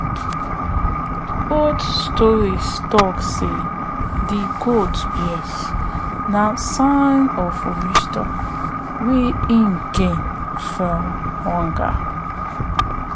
old stories talk say say de goat beard na sign of wisdom wey e gain from hunger